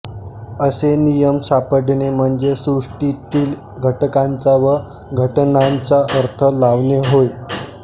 असे नियम सापडणे म्हणजे सृष्टीतील घटकांचा व घटनांचा अर्थ लावणे होय